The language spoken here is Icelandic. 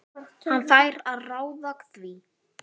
Hann fær að ráða því.